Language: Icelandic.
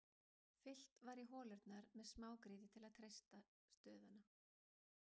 Fyllt var í holurnar með smágrýti til að treysta stöðuna.